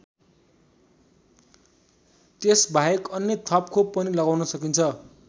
त्यसबाहेक अन्य थप खोप पनि लगाउन सकिन्छ।